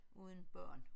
Uden børn